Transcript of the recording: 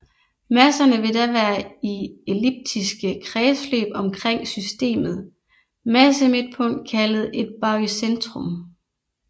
Masserne vil da være i elliptiske kredsløb omkring systemet massemidtpunkt kaldet et barycentrum